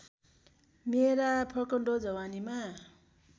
मेरा फक्रँदो जवानीका